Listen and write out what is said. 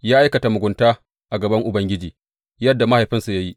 Ya aikata mugunta a gaban Ubangiji yadda mahaifinsa ya yi.